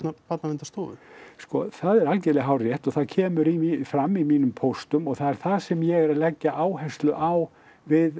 Barnaverndarstofu sko það er algerlega hárrétt og það kemur fram í mínum póstum og það er það sem ég er að leggja áherslu á við